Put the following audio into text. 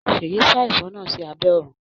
Seyi sa ẹfọ náà sí abé òrùn.